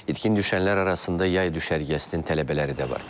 İtkin düşənlər arasında yay düşərgəsinin tələbələri də var.